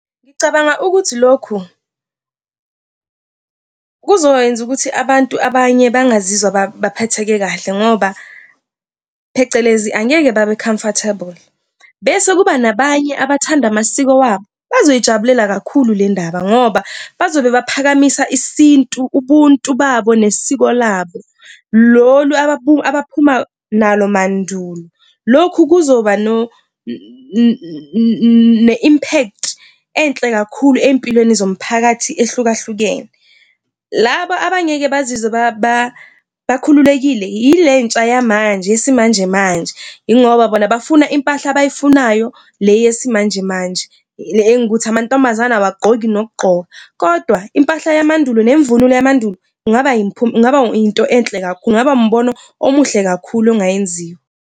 Ngicabanga ukuthi lokhu kuzokwenza ukuthi abantu abanye bangazizwa baphatheke kahle ngoba phecelezi angeke babe-comfortable bese kuba nabanye abathanda amasiko wabo bazoyijabula kakhulu le ndaba, ngoba bazobe baphakamisa isintu, ubuntu bakho nesiko labo lolu abaphuma nalo mandulo. Lokhu kuzoba ne-impact enhle kakhulu empilweni yomphakathi ehlukahlukene. Laba abangeke bazizwe bakhululekile yile ntsha yamanje yesimanjemanje, yingoba bafuna impahla abayifunayo. Le yesimanjemanje le engukuthi amantombazane awagqoki nokugqoka kodwa impahla yamandulo nemvunulo yamandulo kungaba . Kungaba into enhle kakhulu, kungaba umbono omuhle kakhulu ongayenziwa